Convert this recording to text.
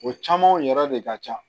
O caman yɛrɛ de ka ca